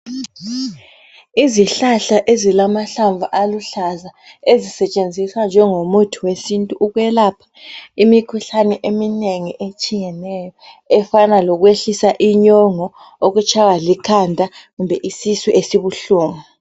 Izihlahla ezilamahlamvu , aluhlaza. Ezisetshenziswa njengomuthi wesintu, ukwelapha imikhuhlane eminengi, etshiyeneyo, efana lokutshaywa likhanda, kumbe isisu esibuhlungu.